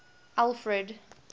alfred